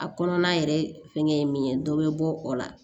A kɔnɔna yɛrɛ fɛngɛ ye min ye dɔ bɛ bɔ o la